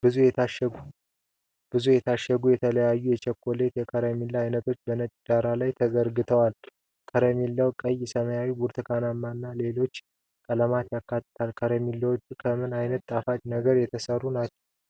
ብዙ የታሸጉ የተለያዩ የቸኮሌትና የከረሜላ አይነቶች በነጭ ዳራ ላይ ተዘርግተዋል። ከረሜላዎቹ ቀይ፣ ሰማያዊ፣ ብርቱካናማ እና ሌሎች ቀለሞችን ያካትታሉ። ከረሜላዎቹ ከምን ዓይነት ጣፋጭ ነገሮች የተሠሩ ናቸው?